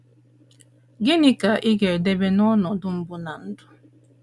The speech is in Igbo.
Gịnị ka ị ga - edebe n’ọnọdụ mbụ ná ndụ?